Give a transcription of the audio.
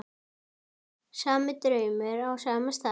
Sami draumur á sama stað.